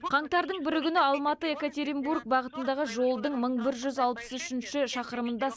қаңтардың бірі күні алматы екатеринбург бағытындағы жолдың мың бір жүз алпыс үшінші шақырымында